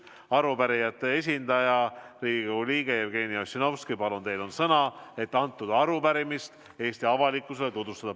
Arupärijate esindaja, Riigikogu liige Jevgeni Ossinovski, teil on sõna, et arupärimist Eesti avalikkusele tutvustada.